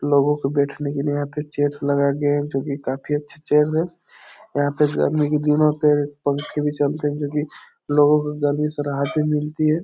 लोगों को बैठने के लिए यहाँ पे चेयर ठो लगा दिया जो की काफी अच्छा चेयर है यहाँ पे गर्मी के दिनों पे पंखे भी चलते हैं जो की लोगों को गर्मी से राहत भी मिलती है।